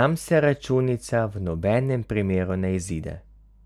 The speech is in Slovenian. nam se računica v nobenem primeru ne izide.